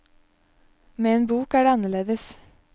Med en bok er det annerledes.